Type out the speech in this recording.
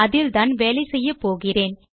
அதில்தான் வேலை செய்யப்போகிறோம்